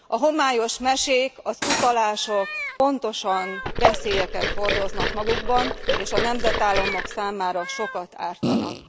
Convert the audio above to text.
A homályos mesék, az utalások pontosan veszélyeket hordoznak magukban és a nemzetállamok számára sokat ártanak.